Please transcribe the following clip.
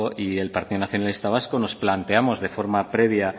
y el partido nacionalista vasco nos planteamos de forma previa